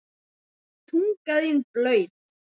Tunga þín blaut.